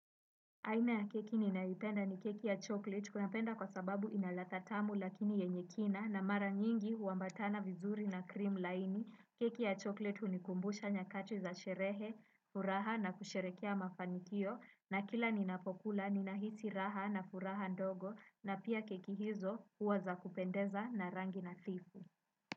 Aina ya keki ninayoipenda ni keki ya chocolate napenda kwa sababu ina ladha tamu lakini yenye kina na mara nyingi huambatana vizuri na cream laini keki ya chocolate hunikumbusha nyakati za sherehe, furaha na kusherekea mafanikio na kila ninapokula ninahisi raha na furaha ndogo na pia keki hizo huwa za kupendeza na rangi nadhifu.